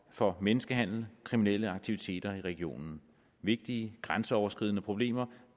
for menneskehandel kriminelle aktiviteter i regionen vigtige grænseoverskridende problemer